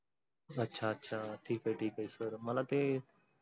अच्छा अच्छा ठीक आहे ठीक आहे sir मला ते